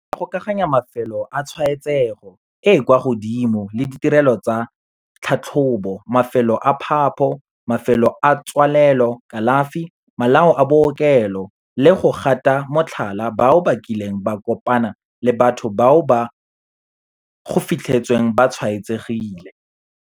Re tla gokaganya mafelo a tshwaetsego e e kwa godimo le ditirelo tsa tlhatlhobo, mafelo a phapho, mafelo a tswalelo, kalafi, malao a bookelo le go gata motlhala bao ba kileng ba kopana le batho bao go fitlhetsweng ba tshwaetsegile.